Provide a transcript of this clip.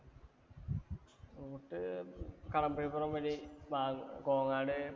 കടമ്പഴിപ്പുറം വഴി കോങ്ങാട് പാലക്കാട്‌.